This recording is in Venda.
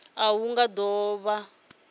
a hu nga do vha